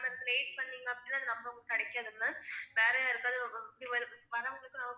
Late பண்ணிங்க அப்படின்னா அந்த number உங்களுக்கு கிடைக்காது ma'am வேற யாருக்காவுது வரவங்களுக்கு